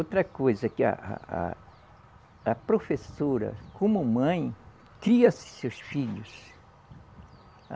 Outra coisa que a, a, a, a professora, como mãe, cria seus filhos.